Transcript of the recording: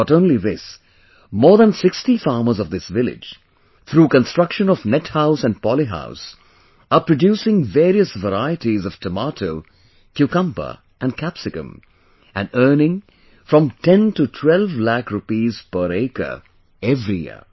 Not only this, more than 60 farmers of this village, through construction of net house and poly house are producing various varieties of tomato, cucumber and capsicum and earning from 10 to 12 lakh rupees per acre every year